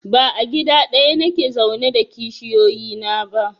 Ba a gida ɗaya nake zaune da kishiyoyi na ba